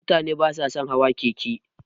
Mutane basa sun hawa keke.